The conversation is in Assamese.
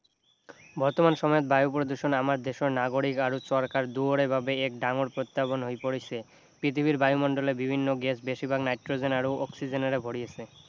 বৰ্তমান সময়ত বায়ু প্ৰদূষণ আমাৰ দেশৰ নাগৰিক আৰু চৰকাৰ দুয়োৰে বাবে এক ডাঙৰ প্ৰত্য়াহ্বান হৈ পৰিছে পৃথিৱীৰ বায়ুমণ্ডলে বিভিন্ন গেছ বেছিভাগ নাইট্ৰজেন আৰু অক্সিজেনেৰে ভৰি আছে